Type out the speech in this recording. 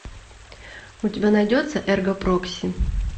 у тебя найдется эрго прокси